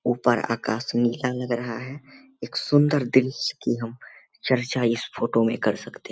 ऊपर आकाश नीला लग रहा है एक सुंदर दृश्य की हम चर्चा इस फोटो में कर सकते है।